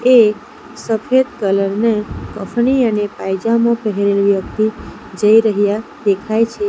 એક સફેદ કલર ને કફની અને પાયજામો પહેરેલ વ્યક્તિ જઈ રહ્યા દેખાય છે.